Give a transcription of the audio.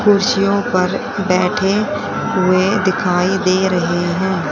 कुर्सियों पर बैठे हुए दिखाई दे रहे हैं।